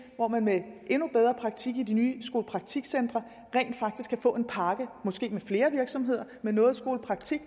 hvor man med endnu bedre praktik i de nye skolepraktikcentre rent faktisk kan få en pakke måske med flere virksomheder med noget skolepraktik